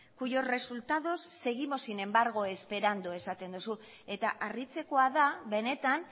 cuyos resultados seguimos sin embargo esperando esaten duzu eta harritzekoa da benetan